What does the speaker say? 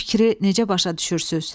Bu fikri necə başa düşürsünüz?